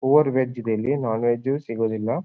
ಪುರ್ veg ದಲ್ಲಿ non veg ಸಿಗೋದಿಲ್ಲಾ.